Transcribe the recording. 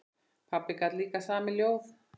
Pabbi gat líka samið ljóð.